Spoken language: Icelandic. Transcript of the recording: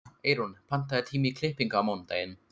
Eyrún, pantaðu tíma í klippingu á mánudaginn.